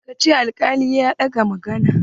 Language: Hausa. Ka ce ma alkalin ya ɗaga maganan!